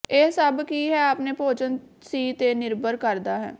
ਇਹ ਸਭ ਕੀ ਹੈ ਆਪਣੇ ਭੋਜਨ ਸੀ ਤੇ ਨਿਰਭਰ ਕਰਦਾ ਹੈ